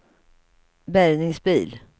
bärgningsbil